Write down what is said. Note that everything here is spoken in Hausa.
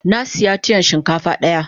Na siya tiyan shinkafa daya.